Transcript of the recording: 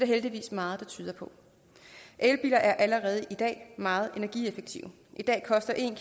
heldigvis meget der tyder på elbiler er allerede i dag meget energieffektive i dag koster en